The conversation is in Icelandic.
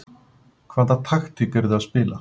Hvaða taktík eruð þið að spila?